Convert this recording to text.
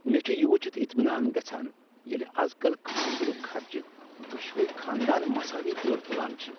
مےٚ چھ یہ وٕچھتھ اطمینان گژھان ییٚلہ از کل کھاندرک خرچہٕ دۄشوٕے خاندان مساوی طور تلان چھ۔